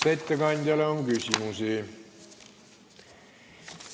Kas ettekandjale on küsimusi?